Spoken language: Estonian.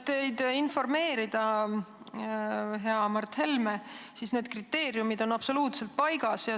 Et teid informeerida, hea Mart Helme, ma kinnitan, et need kriteeriumid on absoluutselt paigas.